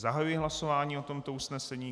Zahajuji hlasování o tomto usnesení.